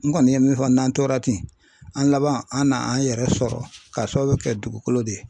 N kɔni ye min fɔ n'an tora ten an laban an n'an yɛrɛ sɔrɔ k'a sababu kɛ dugukolo de ye